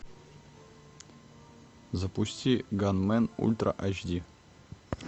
запусти ганмен ультра айч ди